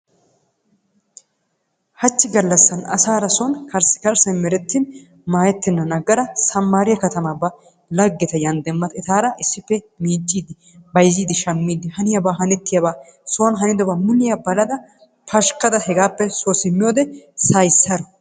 Hachchi galassan asaara soni karssi karssaay merettin maayetennan agada samaariya katamaa ba lageta yan demmada etaara issippe miciidi bayzzidi shamiidi haniyaba hanettiyaba soni hanidaba muliya balada pashkada hegaappe soo simmiyode say saro.